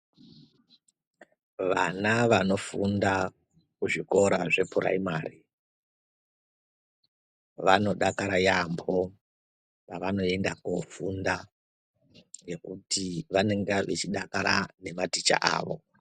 Vana vanofunda kuzvikora zvepuraimari vanodakara yaambo pavanoenda kofunda ngekuti vanenge vachidakara nematicha avo.